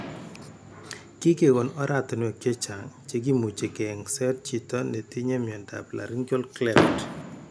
Kigegon oratinwek chechang che kimuche keyengset chito netinye miondap laryngeal cleft.